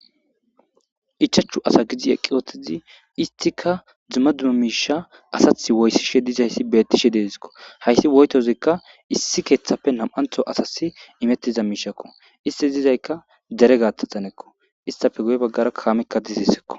Ichachu asa gidi eqqi wotizi istika dzumma duma miisha asath woyssishe dizayssi beettishe deezikko haysi woytozikka issi keeththappe nam7antho asasi imettiza miishakko isti dizaykka dere gaataxanekko istafe guye baggara kaamekka dizisekko.